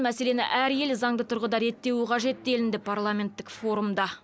мәселені әр ел заңды тұрғыда реттеуі қажет делінді парламенттік форумда